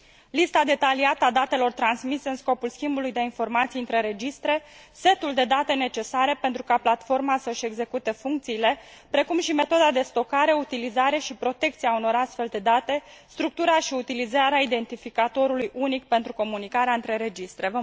lista detaliată a datelor transmise în scopul schimbului de informații între registre, setul de date necesare pentru ca platforma să și execute funcțiile, precum și metoda de stocare, utilizare și protecție a unor astfel de date, structura și utilizarea identificatorului unic pentru comunicarea între registre.